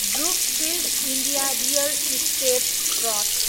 Brookfield India real estate trust